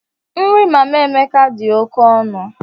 Nri Mama Emeka dị oke ọnụ.